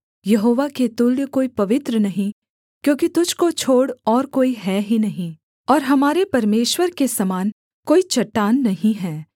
यहोवा के तुल्य कोई पवित्र नहीं क्योंकि तुझको छोड़ और कोई है ही नहीं और हमारे परमेश्वर के समान कोई चट्टान नहीं है